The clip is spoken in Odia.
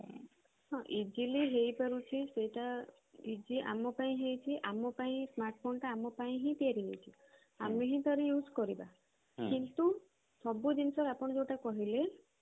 ହଁ easily ହେଇ ପାରୁଛି ସେଇଟା easy ଆମ ପାଇଁ ହେଇଛି ଆମ ପାଇଁ smartphone ଟା ଆମ ପାଇଁ ହିଁ ତିଆରି ହେଇଛି ଆମେ ହିଁ ତାର use କରିବା କିନ୍ତୁ ସବୁ ଜିନିଷ ଆପଣ ଯୋଉଟା କହିଲେ